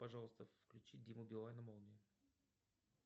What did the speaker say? пожалуйста включи диму билана молния